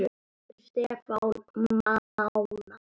Eftir Stefán Mána.